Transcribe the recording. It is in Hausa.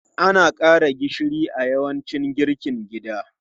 Ana ƙara gishiri a yawancin girkin gida.